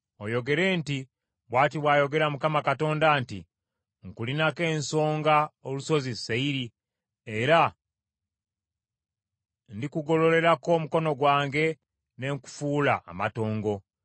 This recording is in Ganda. oyogere nti, ‘Bw’ati bw’ayogera Mukama Katonda nti, Nkulinako ensonga, olusozi Seyiri, era ndikugolererako omukono gwange ne nkufuula amatongo.